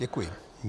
Děkuji.